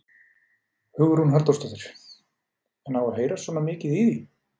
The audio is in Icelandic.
Hugrún Halldórsdóttir: En á að heyrast svona mikið í því?